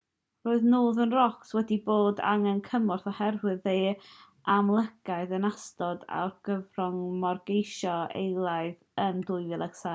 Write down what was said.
roedd northern rock wedi bod angen cymorth oherwydd ei amlygiad yn ystod argyfwng morgeisi eilaidd yn 2007